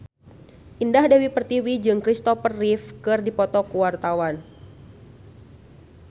Indah Dewi Pertiwi jeung Kristopher Reeve keur dipoto ku wartawan